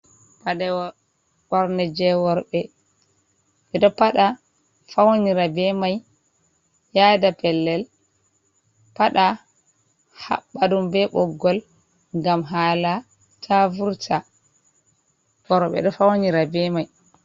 Paɗe ɓorne jey rowɓe, ɓe ɗo paɗa fawnira bee may yaada pellel, paɗa haɓɓa ɗum bee ɓoggol ngam haala taa vurta. worɓe ɗo fawnira bee may.